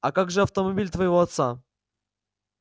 а как же автомобиль твоего отца